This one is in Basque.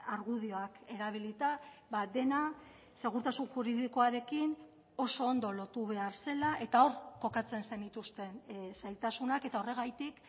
argudioak erabilita dena segurtasun juridikoarekin oso ondo lotu behar zela eta hor kokatzen zenituzten zailtasunak eta horregatik